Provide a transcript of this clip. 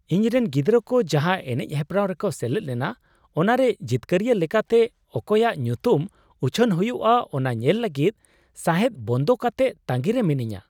ᱤᱧ ᱨᱮᱱ ᱜᱤᱫᱽᱨᱟᱹ ᱠᱚ ᱡᱟᱦᱟᱸ ᱮᱱᱮᱡ ᱦᱮᱯᱨᱟᱣ ᱨᱮᱠᱚ ᱥᱮᱞᱮᱫ ᱞᱮᱱᱟ ᱚᱱᱟᱨᱮ ᱡᱤᱛᱠᱟᱹᱨᱤᱭᱟᱹ ᱞᱮᱠᱟᱛᱮ ᱚᱠᱚᱭᱟᱜ ᱧᱩᱛᱩᱢ ᱩᱪᱷᱟᱹᱱ ᱦᱩᱭᱩᱜᱼᱟ ᱚᱱᱟ ᱧᱮᱞ ᱞᱟᱹᱜᱤᱫ ᱥᱟᱦᱮᱫ ᱵᱚᱱᱫᱚ ᱠᱟᱛᱮ ᱛᱟᱺᱜᱤᱨᱮ ᱢᱤᱱᱟᱹᱧᱟ ᱾